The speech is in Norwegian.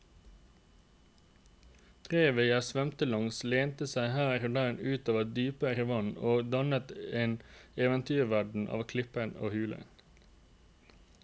Revet jeg svømte langs lente seg her og der ut over dypere vann og dannet en eventyrverden av klipper og huler.